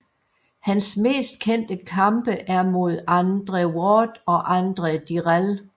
Hans mest kendte kampe er mod Andre Ward og Andre Dirrell